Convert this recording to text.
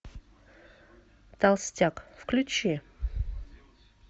толстяк включи